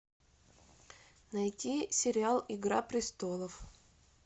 найти сериал игра престолов